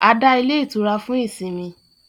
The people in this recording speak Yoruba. A dá ilé itura fún ìsinmi